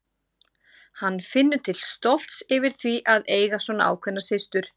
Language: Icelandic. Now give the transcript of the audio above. Hann finnur til stolts yfir því að eiga svona ákveðna systur.